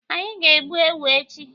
Anyị ga- egbu ewu echi.